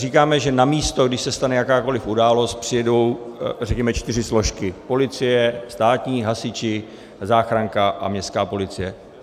Říkáme, že na místo, když se stane jakákoliv událost, přijedou, řekněme, čtyři složky: policie státní, hasiči, záchranka a městská policie.